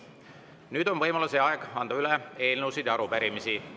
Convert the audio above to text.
Nüüd on võimalus ja aeg anda üle eelnõusid ja arupärimisi.